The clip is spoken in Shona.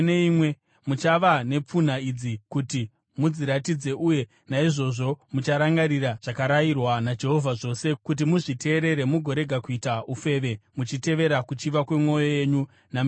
Muchava nepfunha idzi kuti mudzitarire uye naizvozvo mucharangarira zvakarayirwa naJehovha zvose, kuti muzviteerere mugorega kuita ufeve muchitevera kuchiva kwemwoyo yenyu nameso enyu.